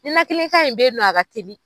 Ninakili kan in bɛ ye nɔ a ka teli.